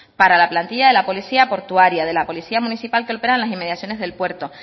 para la plantilla de la policía portuaria de la policía municipal que opera en las inmediaciones del puerto